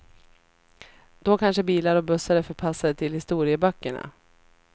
Då kanske bilar och bussar är förpassade till historieböckerna.